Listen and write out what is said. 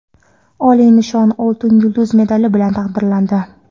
oliy nishon – "Oltin yulduz" medali bilan taqdirlandi.